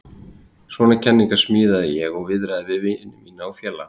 Svona kenningar smíðaði ég og viðraði við vini mína og félaga.